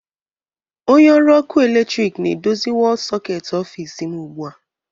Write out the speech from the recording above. Onye ọrụ ọkụ eletrik na-edozi wọlụ sọketi ọfịs m ugbu a